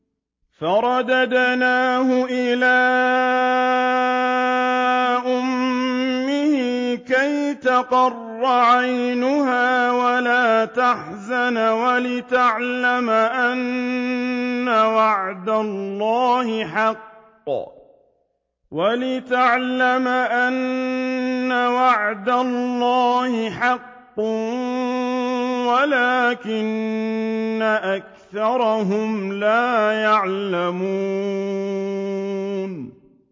فَرَدَدْنَاهُ إِلَىٰ أُمِّهِ كَيْ تَقَرَّ عَيْنُهَا وَلَا تَحْزَنَ وَلِتَعْلَمَ أَنَّ وَعْدَ اللَّهِ حَقٌّ وَلَٰكِنَّ أَكْثَرَهُمْ لَا يَعْلَمُونَ